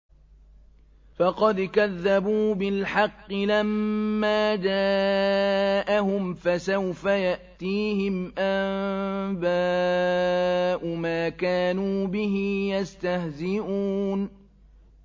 فَقَدْ كَذَّبُوا بِالْحَقِّ لَمَّا جَاءَهُمْ ۖ فَسَوْفَ يَأْتِيهِمْ أَنبَاءُ مَا كَانُوا بِهِ يَسْتَهْزِئُونَ